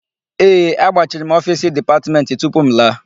Ee, agbachiri m ofiisi Dipatmentị tupu m laa.